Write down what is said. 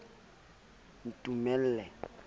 ntumella ha ke re o